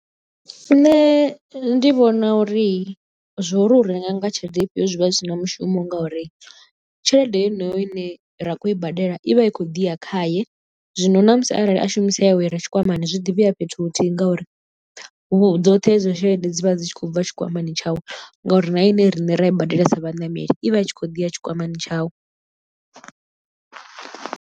Nṋe ndi vhona uri zwo ri u renga nga tshelede ifhio zwi vha zwi si na mushumo ngauri tshelede yeneyo ine ra khou i badela i vha i khou ḓi ya khaye zwino na musi arali a shumisa yawe ire tshikwamani zwi ḓi vhuya fhethu huthihi ngauri dzoṱhe hedzo tshelede dzi vha dzi tshi khou bva tshikwamani tshawe ngauri na ine riṋe ra i badelisa vhaṋameli i vha i tshi khou ḓi ya tshikwamani tshawe.